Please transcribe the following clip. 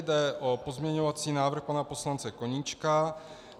Jde o pozměňovací návrh pana poslance Koníčka.